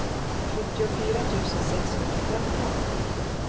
sjuttiofyra tusen sexhundrafemton